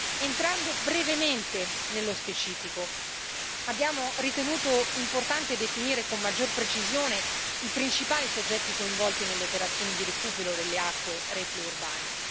Entrando brevemente nello specifico, abbiamo ritenuto importante definire con maggior precisione i principali soggetti coinvolti nelle operazioni di recupero delle acque reflue urbane.